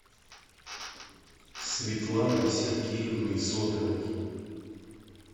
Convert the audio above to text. светланой сергеевной зотовой